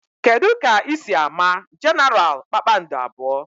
Kedụ ka ị si ámá Genaral kpakpando abụọ?